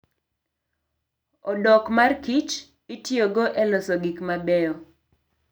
Odok mar kich itiyogo e loso gik mabeyo.